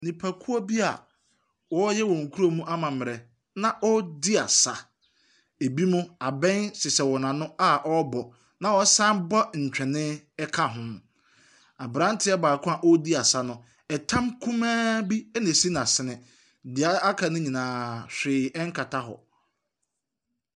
Nnipakuo bia ɔreyɛ wɔn kurom ammamerɛ na wɔredi asa. Ebi mo abɛn hyehyɛ wɔn ano a wɔrebɔ na ɔsan bɔ ntwene ɛka ho. Abranteɛ baako a ɔredi asa no, ɛtam kumaa bi ɛna esi na sene. Deɛ aka no nyinaa hwee ɛnkata hɔ.